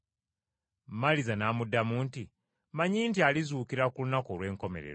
Maliza n’amuddamu nti, “Mmanyi nti alizuukira ku lunaku olw’enkomerero.”